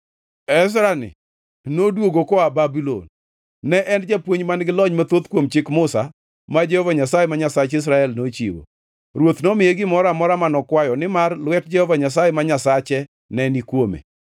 Ezra-ni noduogo koa Babulon. Ne en japuonj man-gi lony mathoth kuom Chik Musa, ma Jehova Nyasaye, ma Nyasach Israel, nochiwo. Ruoth nomiye gimoro amora mano kwayo, nimar lwet Jehova Nyasaye, ma Nyasache ne ni kuome.